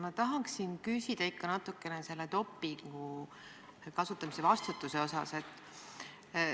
Ma tahaksin veel natuke küsida dopingu kasutamise eest vastutuse kohta.